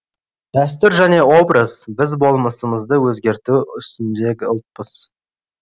дәстүр және образ біз болмысымызды өзгерту үстіндегі ұлтпыз